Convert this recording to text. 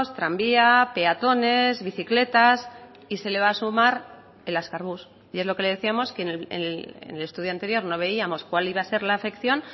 tranvía peatones bicicletas y se le va a sumar el azkar bus y es lo que le decíamos que en el estudio anterior no veíamos cuál iba a ser la afección